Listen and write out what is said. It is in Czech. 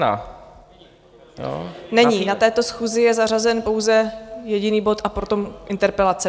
Není, na této schůzi je zařazen pouze jediný bod a potom interpelace.